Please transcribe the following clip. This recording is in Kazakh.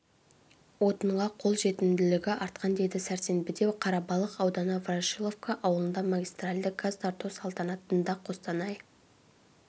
отынға қол жетімділігі артқан деді сәрсенбіде қарабалық ауданы ворошиловка ауылында магистральды газ тарту салтанатында қостанай